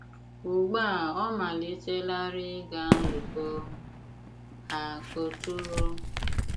Ùgbu a ọ̀ malìtèlárì ịgà nzùkọ ha òtùrò.